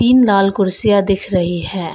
लाल कुर्सियां दिख रही हैं।